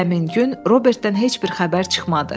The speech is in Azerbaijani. Həmin gün Robertdən heç bir xəbər çıxmadı.